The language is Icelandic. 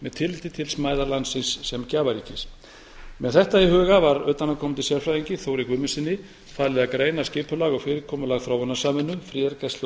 með tilliti til smæðar landsins sem gjafaríkis með þetta í huga var utanaðkomandi sérfræðingi þóri guðmundssyni falið að greina skipulag og fyrirkomulag þróunarsamvinnu friðargæslu og neyðar